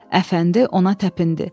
Əfəndi ona təpindi.